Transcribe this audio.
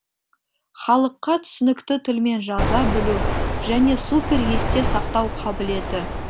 халыққа түсінікті тілмен жаза білу және супер есте сақтау қабілеті